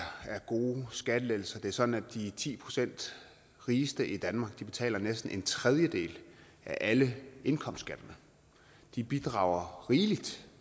gode skattelettelser det er sådan at de ti procent rigeste i danmark betaler næsten en tredjedel af alle indkomstskatterne de bidrager rigeligt